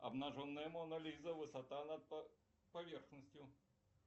обнаженная мона лиза высота над поверхностью